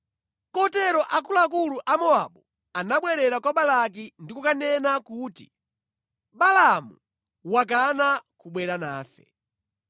Kotero akuluakulu a Mowabu anabwerera kwa Balaki ndi kukanena kuti, “Balaamu wakana kubwera nafe.”